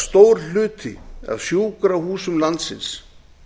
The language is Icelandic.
stór hluti af sjúkrahúsum landsins